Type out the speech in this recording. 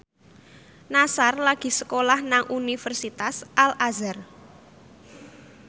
Nassar lagi sekolah nang Universitas Al Azhar